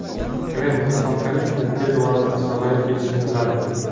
Kreml Islom Karimovning tez orada sog‘ayib ketishini tiladi.